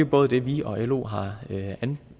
både vi og lo har